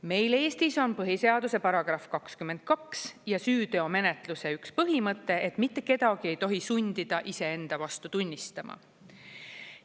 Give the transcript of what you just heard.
Meil Eestis on põhiseaduse § 22 ja süüteomenetluse üks põhimõte, et mitte kedagi ei tohi sundida iseenda vastu tunnistama.